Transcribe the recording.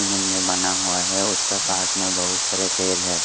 में बना हुआ है उसका पास में बहुत सारे पेड़ है।